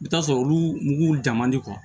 I bɛ t'a sɔrɔ olu mugu jama di